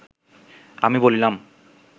আমি বলিলাম